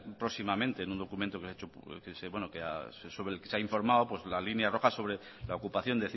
próximamente en un documento sobre el que se ha informado la línea roja sobre la ocupación